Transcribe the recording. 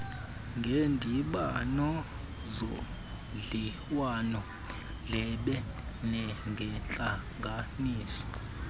ngeendibano zodliwanondlebe nangeentlanganiso